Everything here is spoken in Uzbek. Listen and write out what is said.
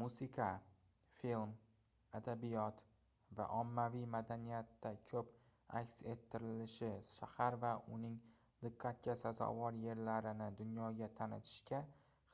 musiqa film adabiyot va ommaviy madaniyatda koʻp aks ettirilishi shahar va uning diqqatga sazovor yerlarini dunyoga tanitishga